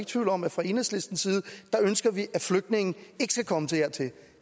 tvivl om at fra enhedslistens side ønsker vi at flygtninge ikke skal komme dertil